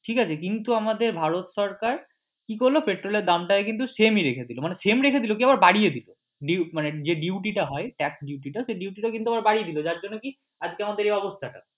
ঠিক আছে কিন্তু আমাদের ভারত সরকার কি করলো পেট্রোল এর দাম টা কিন্তু same ই রেখেছিল মানে same রেখেছিল কি সেটা আবার বাড়িয়ে দিলো মানে যে duty টা হয় tax duty টা সেই duty টা কিন্তু আবার বাড়িয়ে দিলো যার জন্য কি আজকে আমাদের এই অবস্থা